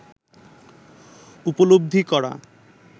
উপলব্ধি করা